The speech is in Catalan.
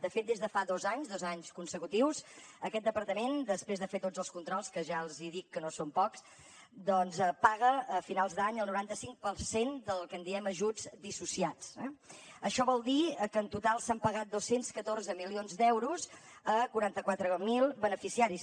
de fet des de fa dos anys dos anys consecutius aquest departament després de fer tots els controls que ja els dic que no són pocs doncs paga a finals d’any el noranta cinc per cent del que en diem ajuts dissociats eh això vol dir que en total s’han pagat dos cents i catorze milions d’euros a quaranta quatre mil beneficiaris